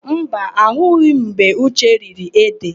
Mba, ahụghị m mgbe Uche riri édè.